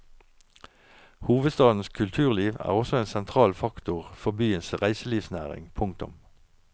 Hovedstadens kulturliv er også en sentral faktor for byens reiselivsnæring. punktum